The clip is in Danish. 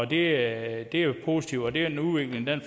det er jo positivt og det er en udvikling